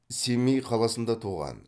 семей қаласында туған